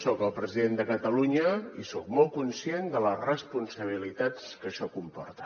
soc el president de catalunya i soc molt conscient de les responsabilitats que això comporta